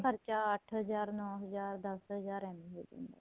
ਖਰਚਾ ਅੱਠ ਹਜ਼ਾਰ ਨੋ ਹਜ਼ਾਰ ਦੱਸ ਹਜ਼ਾਰ ਐਵੇ ਈ ਹੋ ਜਾਂਦਾ